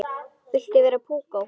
Viltu vera púkó?